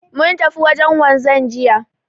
Mun tafi wajen wanzan jiya